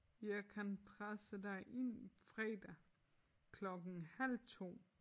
Jeg kan presse dig ind fredag klokken halv 2